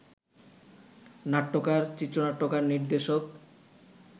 নাট্যকার, চিত্রনাট্যকার, নির্দেশক